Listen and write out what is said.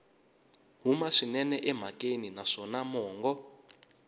huma swinene emhakeni naswona mongo